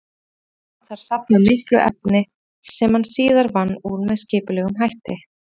Hefði hann þar safnað miklu efni sem hann síðar vann úr með skipulegum hætti.